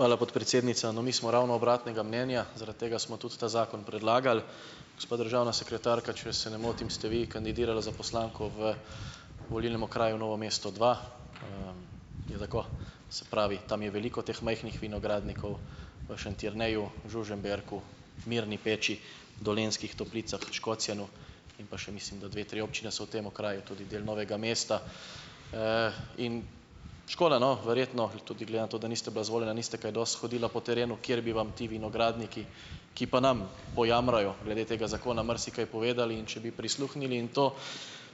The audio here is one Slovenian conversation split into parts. Hvala podpredsednica. No, mi smo ravno obratnega mnenja, zaradi tega smo tudi ta zakon predlagali. Gospa državna sekretarka, če se ne motim, ste vi kandidirala za poslanko v volilnem Okraju Novo mesto dva. Je tako? Se pravi, tam je veliko teh majhnih vinogradnikov, v Šentjerneju, Žužemberku, Mirni Peči, Dolenjskih toplicah, Škocjanu, in pa še mislim, da dve, tri občine so v tem okraju tudi del Novega mesta, in škoda, no, verjetno bi tudi glede na to, da niste bila izvoljena, niste kaj dosti hodila po terenu, kjer bi vam ti vinogradniki, ki pa nam pojamrajo glede tega zakona, marsikaj povedali, in če bi prisluhnili in to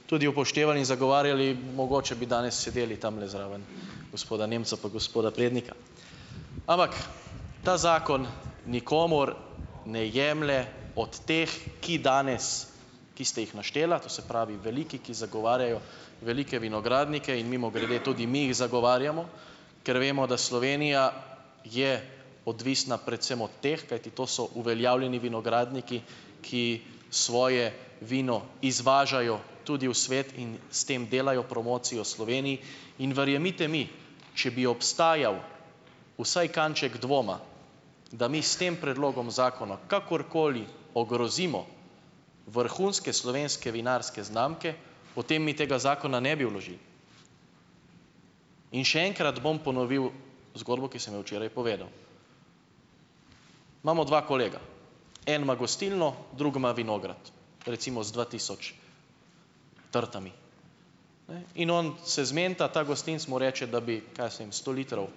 tudi upoštevali in zagovarjali, mogoče bi danes sedeli tamle zraven gospoda Nemca pa gospoda Prednika. Ampak ta zakon nikomur ne jemlje od teh, ki danes, ki ste jih naštela, to se pravi, veliki, ki zagovarjajo velike vinogradnike, in mimogrede tudi mi jih zagovarjamo, ker vemo, da Slovenija je odvisna predvsem od teh, kajti to so uveljavljeni vinogradniki, ki svoje vino izvažajo tudi v svet in s tem delajo promocijo Sloveniji, in verjemite mi, če bi obstajal vsaj kanček dvoma, da mi s tem predlogom zakona kakorkoli ogrozimo vrhunske slovenske vinarske znamke, potem mi tega zakona ne bi vložili. In še enkrat bom ponovil zgodbo, ki sem jo včeraj povedal. Imamo dva kolega. En ima gostilno, drug ima vinograd, recimo z dva tisoč trtami. Ne. In on se zmenita, ta gostinec mu reče, da bi, kaj jaz vem, sto litrov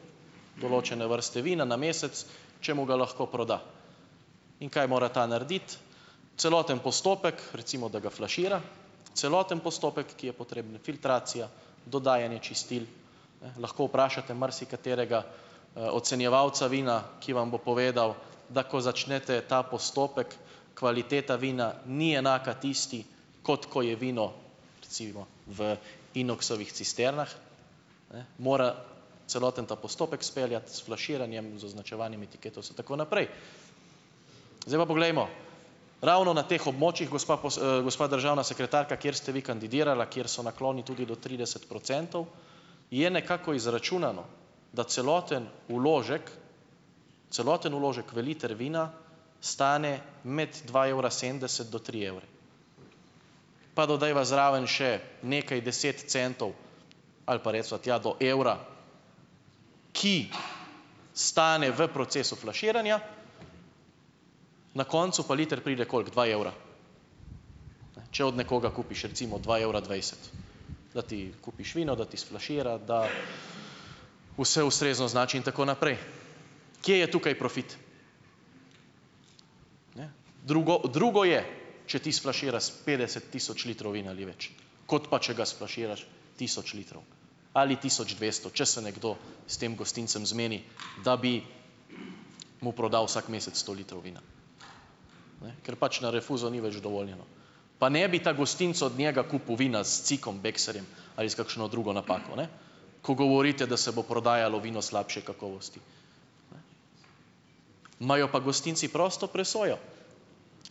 določene vrste vina na mesec, če mu ga lahko proda. In kaj mora ta narediti? Celoten postopek, recimo da ga flašira, celoten postopek, ki je potreben, filtracija, dodajanje čistil, ne, lahko vprašate marsikaterega, ocenjevalca vina, ki vam bo povedal, da ko začnete ta postopek, kvaliteta vina ni enaka tisti, kot ko je vino recimo v inoksovih cisternah, ne, mora celoten ta postopek speljati, s flaširanjem, z označevanjem, etiketo in tako naprej. Zdaj pa poglejmo, ravno na teh območjih, gospa gospa državna sekretarka, kjer ste vi kandidirala, kjer so nakloni tudi do trideset procentov, je nekako izračunano, da celoten vložek, celoten vložek v liter vina stane med dva evra sedemdeset do tri evre. Pa dodajva zraven še nekaj deset centov ali pa reciva tja do evra, ki stane v procesu flaširanja, na koncu pa liter pride, koliko, dva evra, ne, če otd nekoga kupiš, recimo dva evra dvajset, da ti kupiš vino, da ti sflašira, da vse ustrezno označi, in tako naprej. Kje je tukaj profit? Ne. Drugo drugo je, če ti sflaširaš s petdeset tisoč litrov vina ali več, kot pa če ga sflaširaš tisoč litrov ali tisoč dvesto, če se nekdo s tem gostincem zmeni, da bi mu prodal vsak mesec sto litrov vina, ne, ker pač na rinfuzo ni več dovoljeno. Pa ne bi ta gostinec od njega kupil vina s cikom bekserjem ali s kakšno drugo napako, ne, ko govorite, da se bo prodajalo vino slabše kakovosti. Imajo pa gostinci prosto presojo.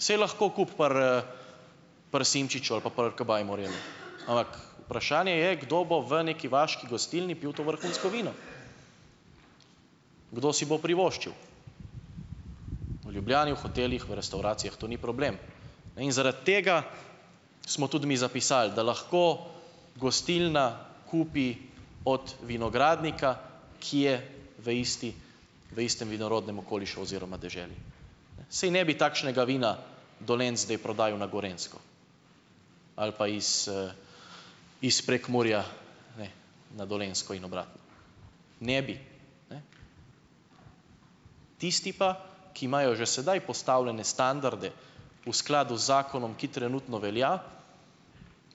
Saj lahko kupi pri, pri Simčiču ali pa pri Kabaj Morelu, ampak vprašanje je, kdo bo v neki vaški gostilni pil to vrhunsko vino. Kdo si bo privoščil? V Ljubljani, v hotelih, v restavracijah to ni problem, ne, in zaradi tega smo tudi mi zapisali, da lahko gostilna kupi od vinogradnika, ki je v isti, v istem vinorodnem okolišu oziroma deželi. Ne, saj ne bi takšnega vina Dolenjec zdaj prodajal na Gorenjsko ali pa iz, iz Prekmurja, ne, na Dolenjsko in obratno, ne bi, ne. Tisti pa, ki imajo že sedaj postavljene standarde v skladu z zakonom, ki trenutno velja,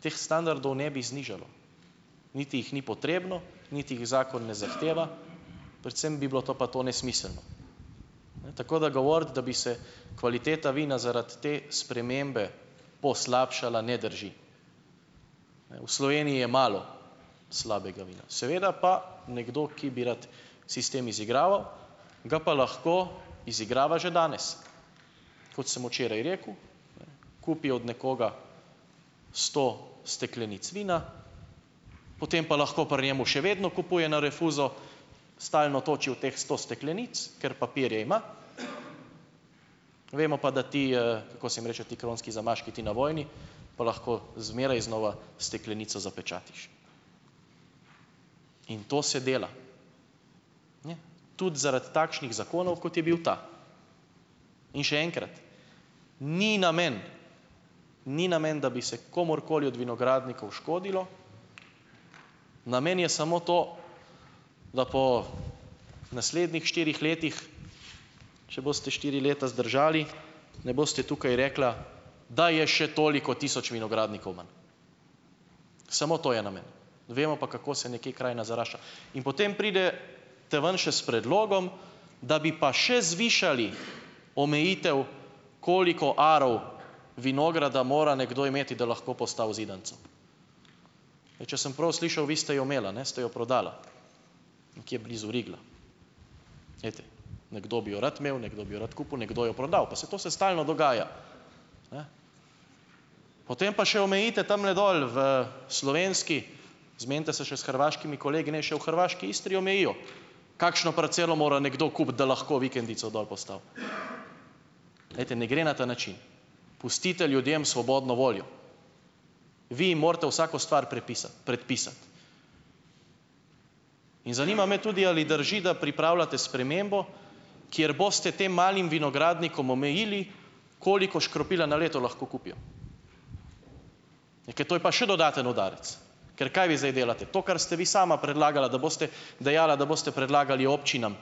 teh standardov ne bi znižalo niti jih ni potrebno niti jih zakon ne zahteva, predvsem bi bilo to pa to nesmiselno. Ne, tako da govoriti, da bi se kvaliteta vina zaradi te spremembe poslabšala, ne drži. Ne, v Sloveniji je malo slabega vina, seveda pa nekdo, ki bi rad sistem izigraval, ga pa lahko izigrava že danes. Kot sem včeraj rekel, ne, kupi od nekoga sto steklenic vina, potem pa lahko pri njemu še vedno kupuje na rinfuzo, stalno točijo v teh sto steklenic, ker papirje ima, vemo pa, da ti, kako se jim reče, ti kronski zamaški, ti navojni, pa lahko zmeraj znova steklenico zapečatiš, in to se dela, ne, tudi, zaradi takšnih zakonov, kot je bil ta. In še enkrat, ni namen, ni namen, da bi se komurkoli od vinogradnikov škodilo, namen je samo to, da po naslednjih štirih letih, če boste štiri leta zdržali, ne boste tukaj rekla, da je še toliko tisoč vinogradnikov manj, samo to je namen, vemo pa, kako se nekje krajina zarašča. In potem pridete ven še s predlogom, da bi pa še zvišali omejitev, koliko arov vinograda mora nekdo imeti, da lahko postavi zidanico. Ne, če sem prav slišal, vi ste jo imela, ne, ste jo prodala nekje blizu Rigla. Glejte. Nekdo bi jo rad imel, nekdo bi jo rad kupil, nekdo jo prodal, pa saj to se stalno dogaja. Ne. Potem pa še omejite tamle dol v slovenski, zmenite se še s hrvaškimi kolegi, naj še v hrvaški Istri omejijo, kakšno parcelo mora nekdo kupiti, da lahko vikendico dol postavi. Glejte, ne gre na ta način, pustite ljudem svobodno voljo. Vi jim morate vsako stvar prepisati, predpisati. In zanima me tudi ali drži, da pripravljate spremembo, kjer boste tem malim vinogradnikom omejili, koliko škropila na leto lahko kupijo, ne, ker to je pa še dodaten udarec. Ker kaj vi zdaj delate? To, kar ste vi sama predlagala, da boste dejala, da boste predlagali občinam,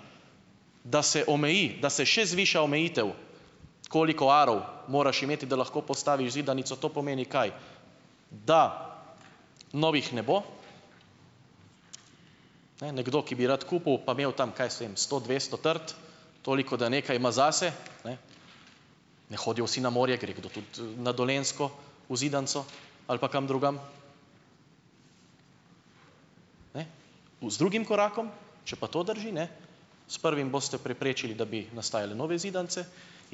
da se omeji, da se še zviša omejitev, koliko arov moraš imeti, da lahko postaviš zidanico. To pomeni kaj? Da novih ne bo. Ne, nekdo, ki bi rad kupil pa imel tam kaj jaz vem sto, dvesto trt, toliko, da nekaj ima zase, ne, ne hodijo vsi na morje, gre kdo tudi na Dolenjsko v zidanico ali pa kam drugam. Ne. U, z drugim korakom, če pa to drži, ne, s prvim boste preprečili, da bi nastajale nove zidanice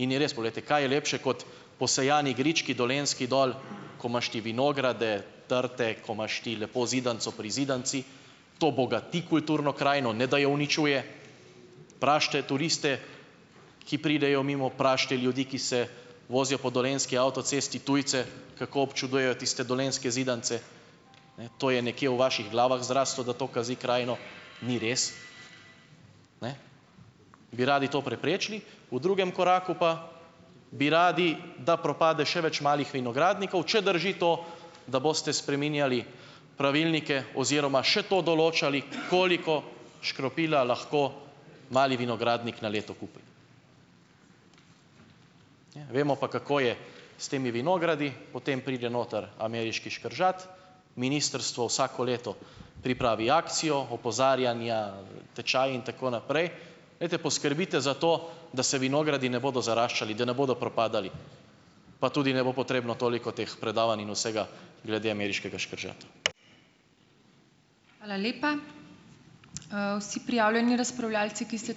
in je res ... Poglejte, kaj je lepše kot posejani grički dolenjski dol, ko imaš ti vinograde, trte, ko imaš ti lepo zidanico pri zidanici, to bogati kulturno krajino, ne da jo uničuje. Vprašajte turiste, ki pridejo mimo, vprašajte ljudi, ki se vozijo po dolenjski avtocesti tujce, kako občuduje tiste dolenjske zidanice. Ne. To je nekje v vaših glavah zraslo, da to kazi krajino, ni res. Ne. Bi radi to preprečili, v drugem koraku pa bi radi, da propade še več malih vinogradnikov, če drži to, da boste spreminjali pravilnike oziroma še to določali, koliko škropila lahko mali vinogradnik na leto kupi. Ne, vemo pa, kako je s temi vinogradi, potem pride noter ameriški škržat, ministrstvo vsako leto pripravi akcijo opozarjanja, tečaji in tako naprej. Glejte, poskrbite za to, da se vinogradi ne bodo zaraščali, da ne bodo propadali pa tudi ne bo potrebno toliko teh predavanj in vsega glede ameriškega škržata.